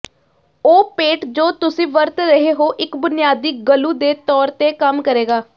ਉਹ ਪੇਂਟ ਜੋ ਤੁਸੀਂ ਵਰਤ ਰਹੇ ਹੋ ਇੱਕ ਬੁਨਿਆਦੀ ਗਲੂ ਦੇ ਤੌਰ ਤੇ ਕੰਮ ਕਰੇਗਾ